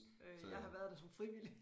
Øh jeg har været der som frivillig